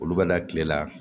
Olu bɛ da kile la